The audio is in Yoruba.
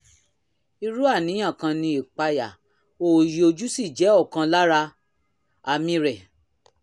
irú àníyàn kan ni ìpayà òòyì ojú sì jẹ́ ọ̀kan lára àmì rẹ̀